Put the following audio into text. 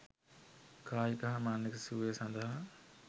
කායික හා මානසික සුවය සඳහා